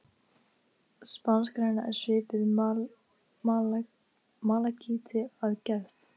Spanskgræna er svipuð malakíti að gerð.